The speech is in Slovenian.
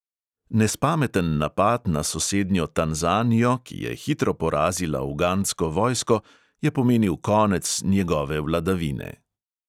Nespameten napad na sosednjo tanzanijo, ki je hitro porazila ugandsko vojsko, je pomenil konec njegove vladavine.